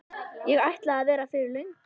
Ég ætlaði að vera fyrir löngu.